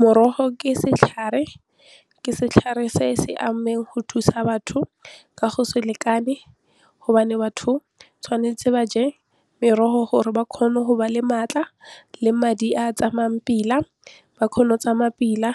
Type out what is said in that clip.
Morogo ke setlhare, ke setlhare se se go thusa batho ka go se lekane gobane batho tshwanetse ba je merogo gore ba kgone go ba le maatla le madi a tsamayang pila ba kgone go tsamaya pila